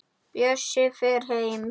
Bjössi fer heim.